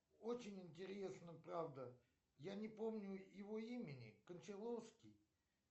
очень интересно правда я не помню его имени кончаловский